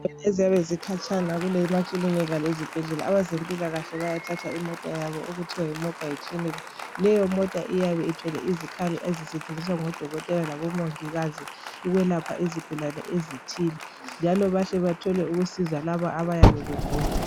Indawo eziyabe zikhatshana emakilinika lasezibhedlela abaze mpilakahle bayathatha imota yabo okuthiwa Yi mobile clinic leyo mota iyabe ithwele izikhali ezisetshenziswa ngodokotela labo mongikazi ukwelapha izigulane ezithile njalo bahle bathole ukwelapha labo abayabe begula